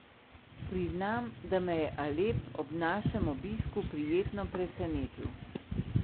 Priznam, da me je Alep ob našem obisku prijetno presenetil.